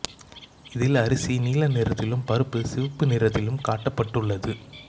இதில் அரிசி நீல நிறத்திலும் பருப்பு சிவப்பு நிறத்திலும் காட்டப் பட்டுள்ளது